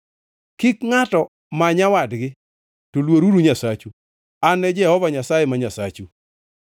Kik ngʼat maa nyawadgi, to luoruru Nyasachu. An e Jehova Nyasaye ma Nyasachu.